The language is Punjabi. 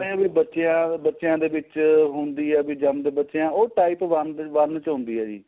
ਏ ਵੀ ਬੱਚਿਆ ਬੱਚਿਆ ਦੇ ਵਿੱਚ ਹੁੰਦੀ ਏ ਵੀ ਜਮਦੇ ਬੱਚੇ ਉਹ type one ਚ ਹੁੰਦੀ ਏ ਜੀ